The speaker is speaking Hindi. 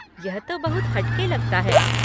यह तो बहुत हट के लगता है।